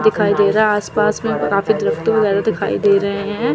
दिखाई दे रहा है आस पास में काफी वगैरा दिखाई दे रहे है।